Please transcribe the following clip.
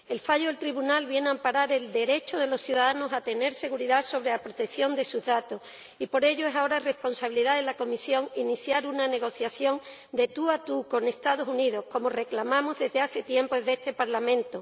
El fallo del Tribunal viene a amparar el derecho de los ciudadanos a tener seguridad sobre la protección de sus datos y por ello es ahora responsabilidad de la Comisión iniciar una negociación de tú a tú con los Estados Unidos, como reclamamos desde hace tiempo desde este Parlamento.